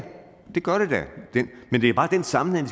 det gør den da men det er bare den sammenhæng